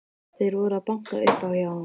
Þeir voru að banka upp á hjá honum.